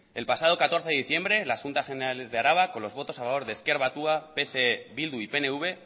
el pasado catorce de diciembre la juntas generales de araba con los votos a favor de ezker batua pse bildu y pnv